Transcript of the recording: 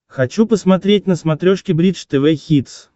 хочу посмотреть на смотрешке бридж тв хитс